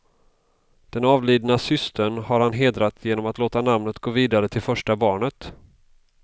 Den avlidna systern har han hedrat genom att låta namnet gå vidare till första barnet.